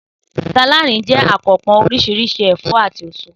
Sàláàdì jé̩ àkanpò̩ orís̩irís̩i è̩fó̩ àti èso